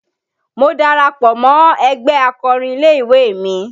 Mo darapọ̀ mọ ẹgbẹ́ akọrin ilé-ìwé mi